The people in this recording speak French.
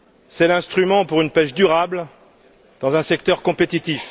C'est l'instrument pour une pêche durable, dans un secteur compétitif.